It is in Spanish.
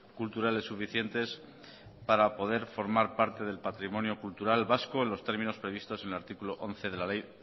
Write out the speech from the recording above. culturales suficientes para poder formar parte del patrimonio cultural vasco en los términos previstos en el artículo once de la ley